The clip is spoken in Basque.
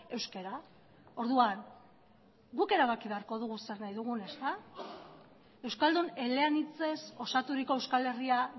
euskara orduan guk erabaki beharko dugu zer nahi dugun ezta euskaldun eleanitzez osaturiko euskal herria